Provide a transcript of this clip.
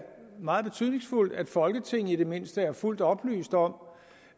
meget betydningsfuldt at folketinget i det mindste er fuldt oplyst om